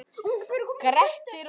Grettir og